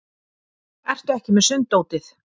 Ertu ekki með sunddótið?